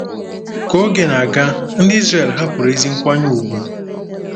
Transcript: Ka oge na-aga, ndị Izrel hapụrụ ezi nkwanye ùgwù.